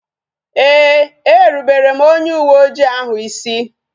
Ee, e rubere m onye uwe oji ahu isi